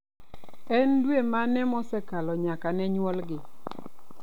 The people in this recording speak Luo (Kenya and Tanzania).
En dwe mane mosekalo nyaka ne nyuolgi?